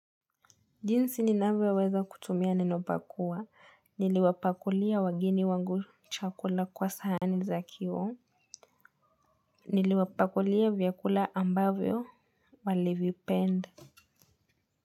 Jinsi ninaweza kutumia neno pakua. Niliwapakulia wageni wangu chakula kwa sahani za kioo. Niliwapakulia vyakula ambavyo walivipenda.